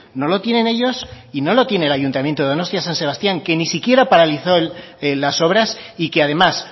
no lo tienen ellos y no lo tiene el ayuntamiento de donostia san sebastián que ni siquiera paralizó las obras y que además